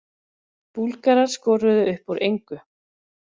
Búlgarar skoruðu upp úr engu